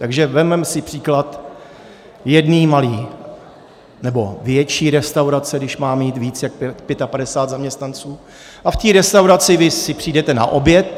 Takže vezmeme si příklad jedné malé, nebo větší restaurace, když má mít víc jak 55 zaměstnanců, a v té restauraci vy si přijdete na oběd.